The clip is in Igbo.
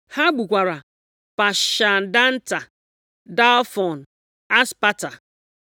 Ha gbukwara Pashandata, Dalfon, Aspata,